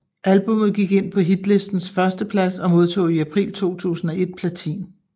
Albummet gik ind på hitlistens førsteplads og modtog i april 2001 platin